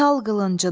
Çal qılıncını,